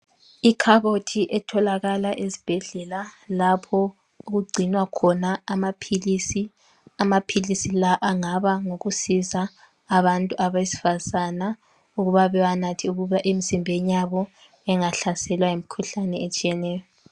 Ikhabothi etholakala ezibhedlela lapho okugcinwa khona amaphilisi amaphilisi lawa angaba ngokusiza abantu abesifazana ukuba bewanathe ukuba emzimbeni yabo ingahlaselwa yimikhuhlane etshiyeneyo.